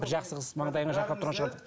бір жақсы қыз маңдайыңа жарқырап тұрған шығар